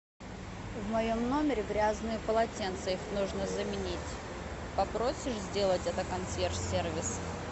в моем номере грязные полотенца их нужно заменить попросишь сделать это консьерж сервис